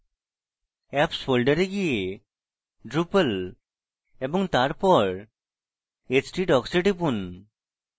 apps folders গিয়ে drupal এবং তারপর htdocs এ টিপুন